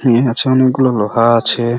আছে অনেক গুলো লোহা আছে।